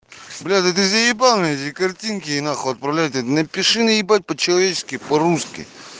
бля да ты заебал меня эти картинки нахуй отправлять напиши на ебать по-человечески по-русски